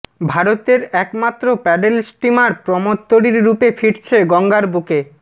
ভারতের একমাত্র paddle steamer প্রমোদতরীর রূপে ফিরছে গঙ্গার বুকে